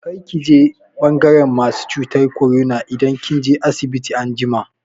Kar ki je ɓangaran masu cutar korona idan kin je asibiti anjima!